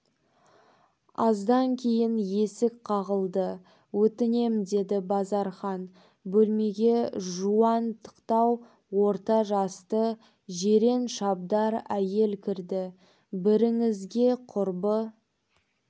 аздан кейін есік қағылды өтінем деді базархан бөлмеге жуантықтау орта жасты жирен-шабдар әйел кірді біріңізге құрбы